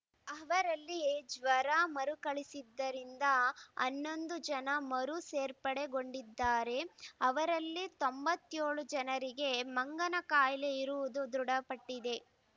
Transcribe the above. ಅವರಲ್ಲಿ ಜ್ವರ ಮರುಕಳಿಸಿದ್ದರಿಂದ ಹನ್ನೊಂದು ಜನ ಮರು ಸೇರ್ಪಡೆಗೊಂಡಿದ್ದಾರೆ ಅವರಲ್ಲಿ ತೊಂಬತ್ತ್ ಏಳು ಜನರಿಗೆ ಮಂಗನ ಕಾಯಿಲೆ ಇರುವುದು ದೃಢಪಟ್ಟಿದೆ